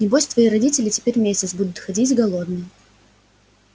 небось твои родители теперь месяц будут ходить голодные